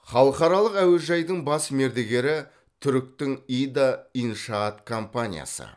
халықаралық әуежайдың бас мердігері түріктің ида иншаат компаниясы